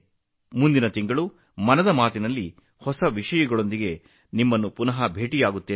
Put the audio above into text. ಮುಂದಿನ ತಿಂಗಳು ಮನ್ ಕಿ ಬಾತ್ ನಲ್ಲಿ ಹೊಸ ವಿಷಯಗಳೊಂದಿಗೆ ನಾವು ಮತ್ತೆ ಭೇಟಿಯಾಗೋಣ